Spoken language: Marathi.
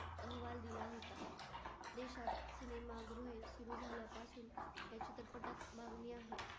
अहवाल दिला होता. देशात cinema भोईर सुरु झाल्यापासून त्याची चटपटा मागणी आहे.